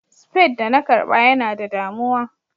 spade da na karba Yana da damuwa.